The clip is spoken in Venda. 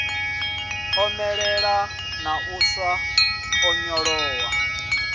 omelela na u sa onyolowa